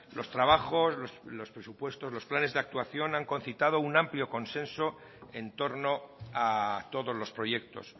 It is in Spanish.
los trabajos los presupuestos los planes de actuación han concitado un amplio consenso en torno a todos los proyectos